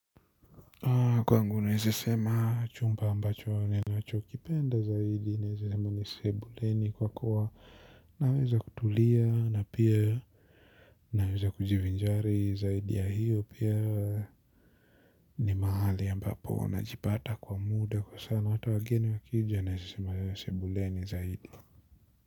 Kwangu naeza sema chumba ambacho ninacho kipenda zaidi naeza sema ni sebuleni kwa kuwa naweza kutulia na pia naweza kujivinjari zaidi ya hiyo pia ni mahali ambapo na jipata kwa muda kwa sana hata wageni wakijia naeza sema ni sebuleni zaidi.